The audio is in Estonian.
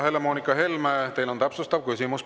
Helle-Moonika Helme, teil on täpsustav küsimus.